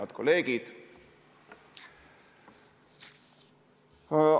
Head kolleegid!